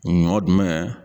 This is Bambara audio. Ɲɔ jumɛn?